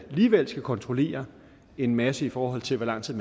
alligevel skal kontrollere en masse i forhold til hvor lang tid